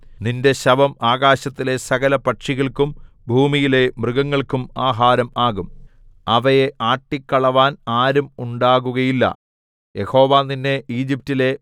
നിന്റെ ശവം ആകാശത്തിലെ സകലപക്ഷികൾക്കും ഭൂമിയിലെ മൃഗങ്ങൾക്കും ആഹാരം ആകും അവയെ ആട്ടികളവാൻ ആരും ഉണ്ടാകുകയില്ല യഹോവ നിന്നെ ഈജിപ്റ്റിലെ